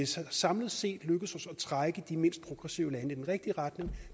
samlet set er lykkedes os at trække de mindst progressive lande i den rigtige retning